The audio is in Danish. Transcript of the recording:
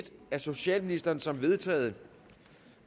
af socialministeren som vedtaget